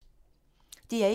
DR1